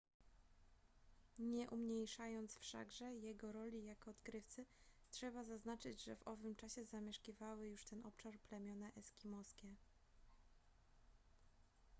nie umniejszając wszakże jego roli jako odkrywcy trzeba zaznaczyć że w owym czasie zamieszkiwały już ten obszar plemiona eskimoskie